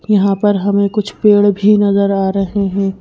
यहां पर हमें कुछ पेड़ भी नजर आ रहे हैं।